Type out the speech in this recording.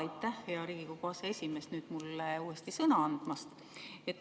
Aitäh, hea Riigikogu aseesimees, mulle uuesti sõna andmast!